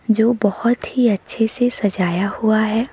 जो बहोत ही अच्छे से सजाया हुआ है।